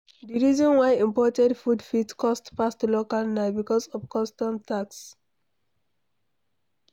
Di reason why imported food fit cost pass local na because of custom tax